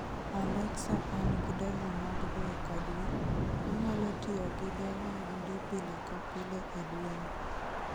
alexa an gi dola mag dwe ka dwe, anyalo tiyo gi dola adi pile ka pile e dwe ni